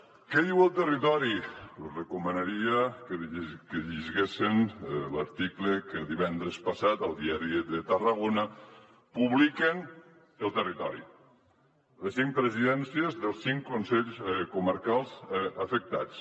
què diu el territori els hi recomanaria que llegissin l’article que divendres passat al diari de tarragona publica el territori les cinc presidències dels cinc consells comarcals afectats